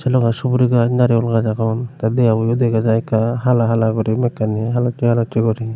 logey suguri gaaj naregul gaaj agon tey debaboyo dega jai ekka hala hala guri mekkani halossey halossey guri.